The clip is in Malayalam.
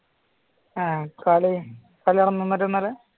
ആ